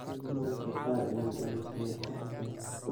Mararka kar inad amusto way ficnthy.